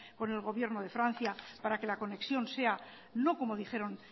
con el gobierno de francia para que la conexión sea no como dijeron